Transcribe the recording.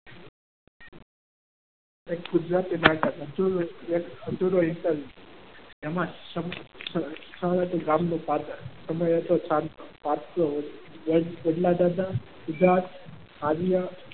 એમાં સ્થળ હતું ગામ નું પાદર અને ખેડલાદાદા જ્યાં આર્ય